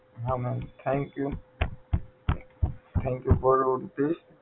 હા ma'am thank you thank you for all this